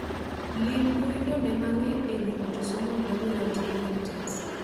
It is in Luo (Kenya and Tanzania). Lim mbui no ne mang'eny e wi autosomal dominant inheritance